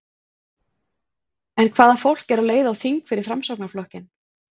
En hvaða fólk er á leið á þing fyrir Framsóknarflokkinn?